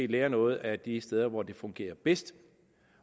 lære noget af de steder hvor det fungerer bedst